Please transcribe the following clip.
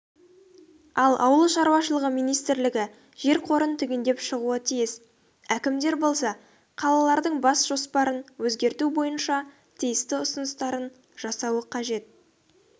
ал ауыл шаруашылығы министрілігі жер қорын түгендеп шығуы тиіс әкімдер болса қалалардың бас жоспарын өзгерту бойынша тиісті ұсыныстарын жасауы қажет